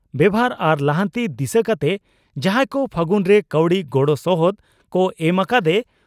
ᱵᱮᱵᱷᱟᱨ ᱟᱨ ᱞᱟᱦᱟᱱᱛᱤ ᱫᱤᱥᱟᱹ ᱠᱟᱛᱮ ᱡᱟᱦᱟᱸᱭ ᱠᱚ 'ᱯᱷᱟᱹᱜᱩᱱ' ᱨᱮ ᱠᱟᱹᱣᱰᱤ ᱜᱚᱲᱚ ᱥᱚᱦᱚᱫ ᱠᱚ ᱮᱢ ᱟᱠᱟᱫᱼᱮ